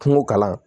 Kungo kalan